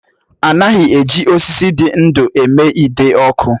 A naghị eji osisi dị ndú eme ide ọkụ.